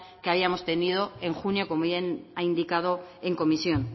que habíamos tenido en junio como bien ha indicado en comisión